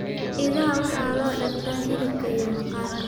Idaha waxaa loo dhaqdaa hilibka iyo maqaarka.